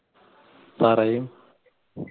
പറയ്